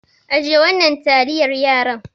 Ajiye wannan taliyar yaran.